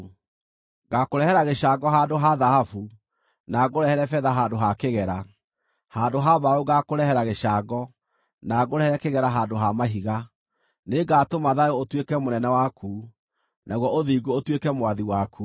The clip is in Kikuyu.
Ngaakũrehera gĩcango handũ ha thahabu, na ngũrehere betha handũ ha kĩgera. Handũ ha mbaũ ngaakũrehera gĩcango, na ngũrehere kĩgera handũ ha mahiga. Nĩngatũma thayũ ũtuĩke mũnene waku, naguo ũthingu ũtuĩke mwathi waku.